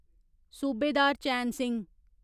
Subedar Chain Singh